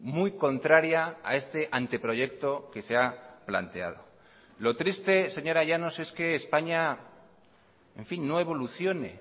muy contraria a este anteproyecto que se ha planteado lo triste señora llanos es que españa en fin no evolucione